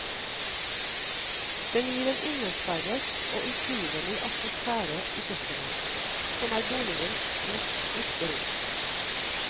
Den gir en innesperret og utrivelig atmosfære i kjøkkenet, som er boligens mest brukte rom.